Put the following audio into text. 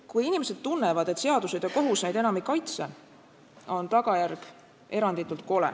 Kui inimesed tunnevad, et seadused ja kohus neid enam ei kaitse, on tagajärg eranditult kole.